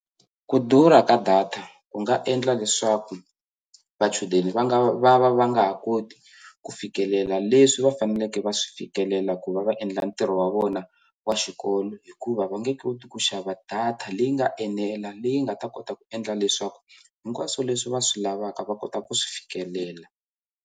Ku durha ka data ku nga endla leswaku vachudeni va nga va va va nga ha koti ku fikelela leswi va faneleke va swi fikelela ku va va endla ntirho wa vona wa xikolo hikuva va nge koti ku xava data leyi nga enela leyi nga ta kota ku endla leswaku hinkwaswo leswi va swi lavaka va kota ku swi fikelela.